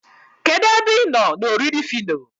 kedu ebe ịnọ na oriri phyno?